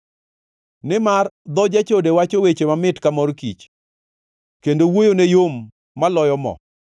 Nimar dho jachode wacho weche mamit ka mor kich, kendo wuoyone yom maloyo moo;